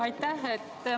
Aitäh!